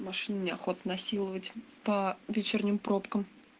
машину не охота насиловать по вечерним пробкам